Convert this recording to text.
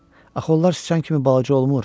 Axı onlar sıçan kimi balaca olmur.